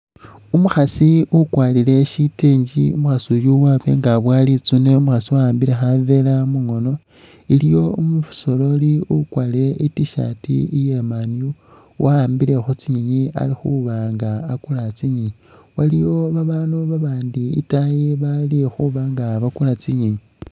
Umukhaasi ukwarire sitengi, Umukhaasi uyu wa nga aboya Litsuune umukhaasi wa'ambile khaveera mungoono. Iliwo umusoreri ukwarire I'T-shirt iya Man U wa'ambile khu tsinyeenyi ali khuuba nga akuula tsinyeenyi. Waliwo babaandu babandi itaayi bali khuba nga bakuula tsinyeenyi.